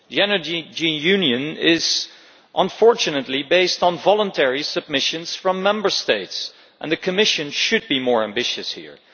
The Energy Union is, unfortunately, based on voluntary submissions from Member States, and the Commission should be more ambitious here.